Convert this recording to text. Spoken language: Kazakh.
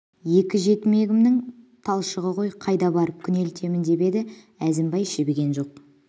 екі жетімегімнің талшығы ғой қайда барып күнелтемін деп еді әзімбай жібіген жоқ